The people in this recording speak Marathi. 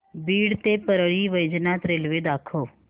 बीड ते परळी वैजनाथ रेल्वे दाखव